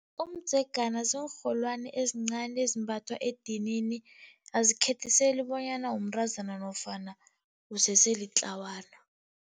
Umdzegana ziinrholwani ezincani ezimbathwa edinini, azikhethiseli bonyana umntazana nofana usese litlawana.